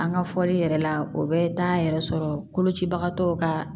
An ka fɔli yɛrɛ la o bɛ taa yɛrɛ sɔrɔ kolocibagatɔw ka